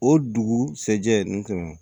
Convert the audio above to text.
O dugusajɛ n tɛmɛn